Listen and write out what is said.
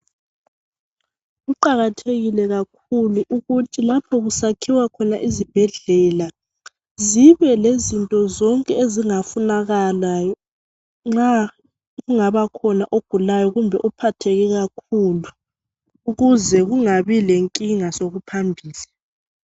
Kuqakathekile kakhulu ukuthi lapho kusakhiwa khona izibhedlela zibe lezinto zonke ezingafunakala nxa kungabakhona ogulayo kumbe ophatheke kakhulu ukuze kungabi lenkinga sokuphambili.